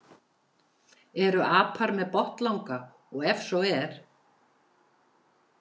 Eru apar með botnlanga og ef svo er.